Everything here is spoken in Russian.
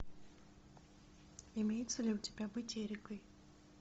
имеется ли у тебя быть эрикой